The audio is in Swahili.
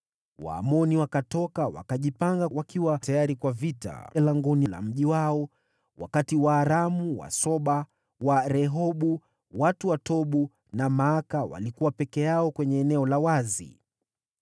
Waamoni wakatoka wakajipanga wakiwa tayari kwa vita langoni la mji wao, wakati Waaramu wa Soba, wa Rehobu, watu wa Tobu na Maaka walikuwa peke yao kwenye eneo la wazi.